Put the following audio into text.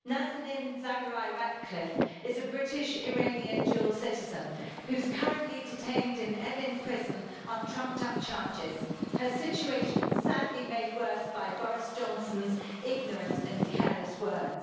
Nazanin Zaghari-Ratcliffe is a British-Iranian dual citizen, who is currently detained in Evin prison on trumped up charges, her situation sadly made worse by Boris Johnson's ignorant and careless words.